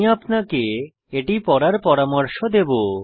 আমি আপনাকে এটি পড়ার পরামর্শ দেবো